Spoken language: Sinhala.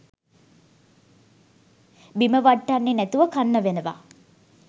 බිම වට්ටන්නේ නැතුව කන්න වෙනවා